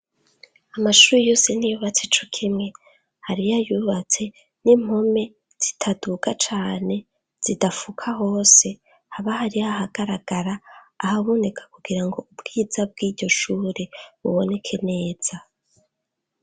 Amashure yose ntiyubatse cokimwe . hariyayubatse n'impome zitaduga cane zidafuka hose haba hari ahagaragara ahaboneka kugira ngo ubwiza bw'iryoshure buboneke neza.